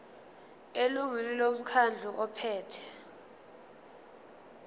elungwini lomkhandlu ophethe